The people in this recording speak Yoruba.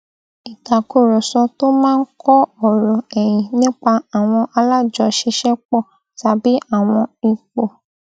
ìtàkùrọsọ tó máa ń kọ ọrọ ẹyin nípa àwọn alájọṣiṣẹpọ tàbí àwọn ipò